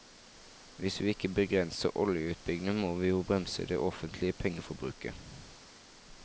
Hvis vi ikke begrenser oljeutbyggingen, må vi jo bremse det offentlige pengeforbruket.